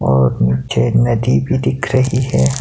और नीचे एक नदी भी दिख रही है।